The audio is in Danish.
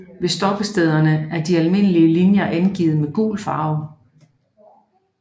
Ved stoppestederne er de almindelige linjer angivet med gul farve